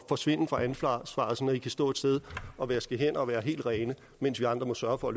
forsvinde fra ansvaret så i kan stå et sted og vaske hænder og være helt rene mens vi andre må sørge for